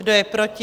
Kdo je proti?